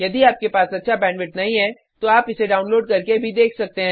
यदि आपके पास अच्छा बैंडविड्थ नहीं है तो आप इसे डाउनलोड करके भी देख सकते हैं